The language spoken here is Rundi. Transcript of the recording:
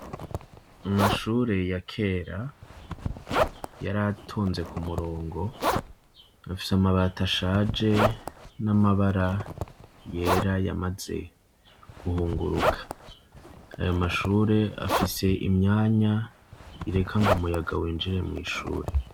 Amashure ya kera yari atonze ku murongo, afise amabati ashaje n'amabara yera yamaze guhunguruka, ayo mashure afise imyanya ireka ngo umuyaga winjire mw'ishure.